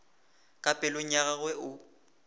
ka pelong ya gagwe o